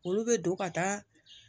Olu bɛ don ka taa